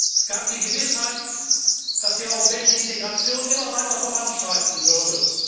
Es gab die Gewissheit, dass die europäische Integration immer weiter voranschreiten würde.